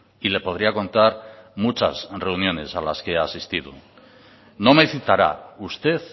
y le podría contar muchas reuniones a las que he asistido no me citará usted